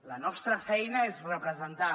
la nostra feina és representar